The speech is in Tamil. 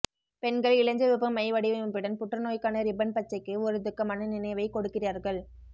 பெண்கள் இளஞ்சிவப்பு மை வடிவமைப்புடன் புற்றுநோய்க்கான ரிப்பன் பச்சைக்கு ஒரு துக்கமான நினைவைக் கொடுக்கிறார்கள்